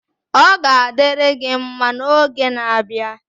Ọ ga-adịrị gị mma n'oge na-abịa